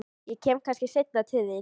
Ég kem kannski seinna til þín.